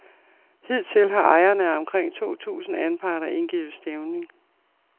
Hidtil har ejerne af omkring to tusind anparter indgivet stævning.